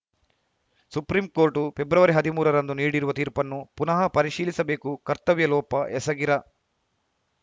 supreme court February ಹದಿಮೂರರಂದು ನೀಡಿರುವ ತೀರ್ಪನ್ನು ಪುನಃ ಪರಿಶೀಲಿಸಬೇಕು ಕರ್ತವ್ಯ ಲೋಪ ಎಸಗಿರ